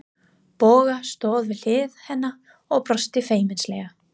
Bogga stóð við hlið hennar og brosti feimnislega.